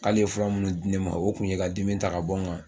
K'ale ye fura minnu di ne ma o tun ye ka dimi ta ka bɔ ne kan